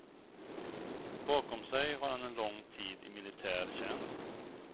Bakom sig har han en lång tid i militär tjänst.